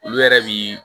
Olu yɛrɛ bi